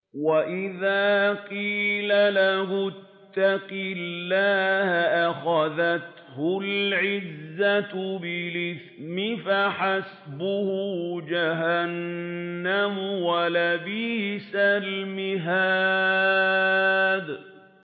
وَإِذَا قِيلَ لَهُ اتَّقِ اللَّهَ أَخَذَتْهُ الْعِزَّةُ بِالْإِثْمِ ۚ فَحَسْبُهُ جَهَنَّمُ ۚ وَلَبِئْسَ الْمِهَادُ